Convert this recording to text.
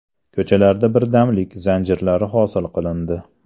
Ko‘chalarda birdamlik zanjirlari hosil qilindi.